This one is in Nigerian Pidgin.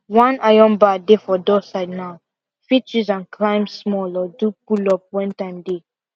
one iron bar dey for door side now fit use am climb small or do pullup when time dey